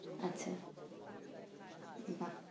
আচ্ছা বাহ!